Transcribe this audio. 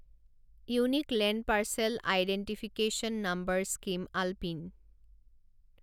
unique land parcel identification number scheme আলপিন